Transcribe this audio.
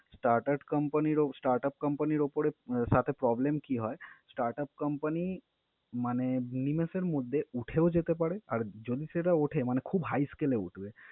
start at company র ও startup company উপরে সাথে problem কী হয়? startup company মানে নিমেষের মধ্যে উঠেও যেতে পারে, আরি যদি সেটা উঠে মানে খুব high scale এ উঠবে।